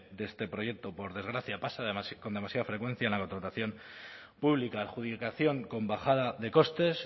de este proyecto por desgracia pasa con demasiada frecuencia en la contratación pública adjudicación con bajada de costes